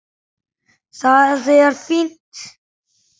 Það er fínt.